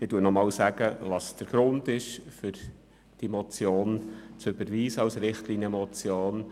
Ich nenne noch einmal den Grund für die Motion als Richtlinienmotion: